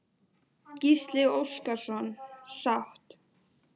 Gísli Óskarsson: Sátt?